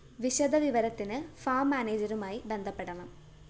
വിശദ വിവരത്തിന് ഫാർം മാനേജരുമായി ബന്ധപ്പെടണം